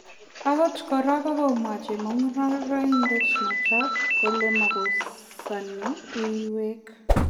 Okot kora kokomwa chemungaraindet noton kole makosani uinwek